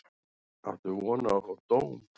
Áttu von á að fá dóm?